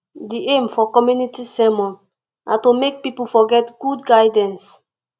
di aim for community sermon na to make pipo for get good guidance